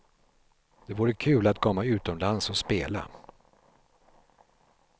Det vore kul att komma utomlands och spela.